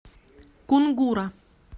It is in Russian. кунгура